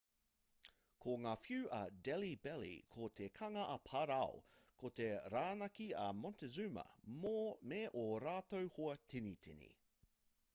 ko ngā whiu a delhi belly ko te kanga a parao ko te rānaki a montezuma me ō rātou hoa tinitini